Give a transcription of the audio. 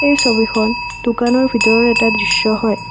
এই ছবিখন দোকানৰ ভিতৰৰ এটা দৃশ্য হয়।